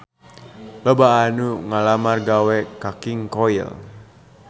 Loba anu ngalamar gawe ka King Koil